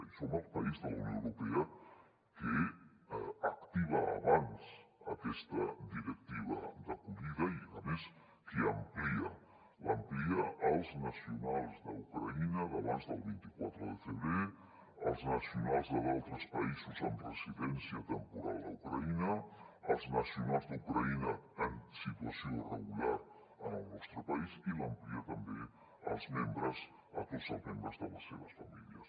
i som el país de la unió europea que activa abans aquesta directiva d’acollida i a més que l’amplia als nacionals d’ucraïna d’abans del vint quatre de febrer als nacionals d’altres països amb residència temporal a ucraïna als nacionals d’ucraïna en situació irregular en el nostre país i l’amplia també a tots els membres de les seves famílies